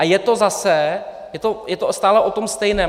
A je to zase, je to stále o tom stejném.